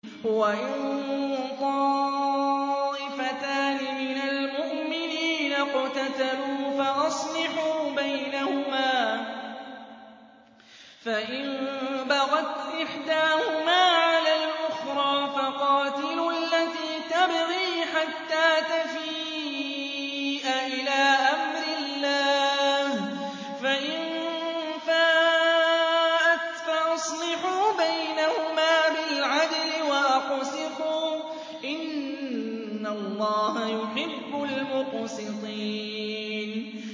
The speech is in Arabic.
وَإِن طَائِفَتَانِ مِنَ الْمُؤْمِنِينَ اقْتَتَلُوا فَأَصْلِحُوا بَيْنَهُمَا ۖ فَإِن بَغَتْ إِحْدَاهُمَا عَلَى الْأُخْرَىٰ فَقَاتِلُوا الَّتِي تَبْغِي حَتَّىٰ تَفِيءَ إِلَىٰ أَمْرِ اللَّهِ ۚ فَإِن فَاءَتْ فَأَصْلِحُوا بَيْنَهُمَا بِالْعَدْلِ وَأَقْسِطُوا ۖ إِنَّ اللَّهَ يُحِبُّ الْمُقْسِطِينَ